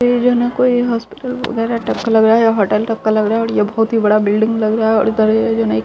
यहां कोई हॉस्पिटल वगैरा टक्कर लग रहा है होटल तक का लग रहा है बोहोत ही बड़ा बिल्डिंग लग रहा है। और इधर ये जो नई --